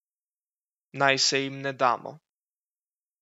Naj se jim ne damo.